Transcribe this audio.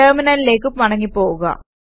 ടെർമിനലിലേക്ക് മടങ്ങി പോകുക